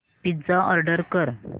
pizza order कर